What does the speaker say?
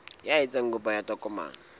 ya etsang kopo ya tokomane